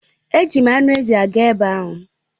Eji m anụ ezi aga ebe ahụ.